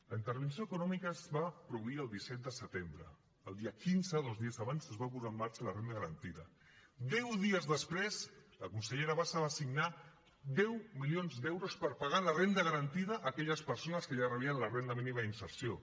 la intervenció econòmica es va produir el disset de setembre el dia quinze dos dies abans es va posar en marxa la renda garantida deu dies després la consellera bassa va signar deu milions d’euros per pagar la renda garantida a aquelles persones que ja rebien la renda mínima d’inserció